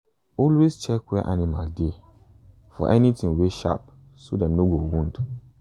always check inside where animal dey for anything wey sharp so dem no go wound.